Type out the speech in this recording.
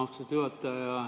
Austatud juhataja!